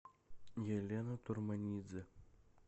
елена турманидзе